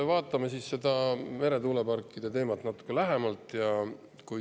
Vaatame nüüd seda meretuuleparkide teemat natuke lähemalt.